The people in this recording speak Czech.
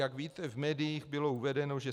Jak víte, v médiích bylo uvedeno, že